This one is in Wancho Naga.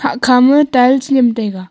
hahkha ma tiles nyem taiga.